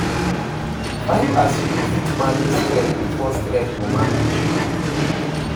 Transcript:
Find as yu go fit manage stress bifor stress go manage yu